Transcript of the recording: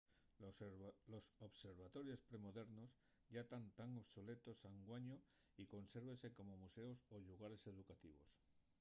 los observatorios pre-modernos yá tán obsoletos anguaño y consérvense como museos o llugares educativos